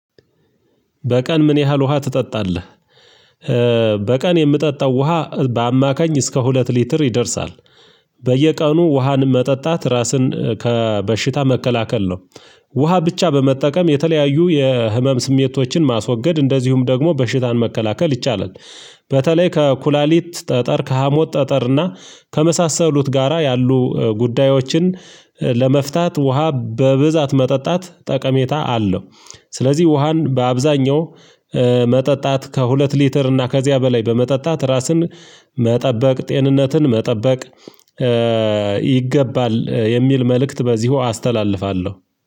በቀን ምን ያህል ውሃ ትጠጣለህ? በቀን የምጠጣው ውሃ በአማካኝ እስከ ሁለት ሊትር ይደርሳል። በየቀኑ ውሃን መጠጣት ራስን ከበሽታ መከላከል ነው። ውሃ ብቻ በመጠቀም የተለያዩ የህመም ስሜቶችን ማስወገድ እንደዚሁም ደግሞ በሽታን መከላከል ይቻላል። በተለይ ከ ኩላሊት ጠጠር ከሀሞት ጠጠር እና ከመሳሰሉት ጋራ ያሉ ጉዳዮችን ለመፍታት ውሃ በብዛት መጠጣት ጠቀሜታ አለው። ስለዚህ ውሃን በአብዛኛው መጠጣት ከሁለት ሊትር እና ከዚያ በላይ በመጠጣት ራስን መጠበቅ ጤንነትን መጠበቅ። ይገባል የሚል መልእክት በዚሁ አስተላልፋለሁ።